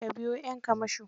Ka biya 'yan kamasho?